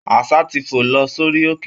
Aṣá ti fò lọ sórí òkè